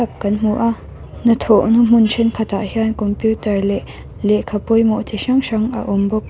kan hmu a hnathawhna hmun thenkhatah hian computer leh lehkha pawimawh ti hrang hrang a awm bawk.